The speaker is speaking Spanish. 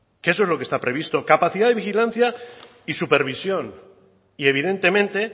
que eso es lo que está previsto capacidad de vigilancia y supervisión y evidentemente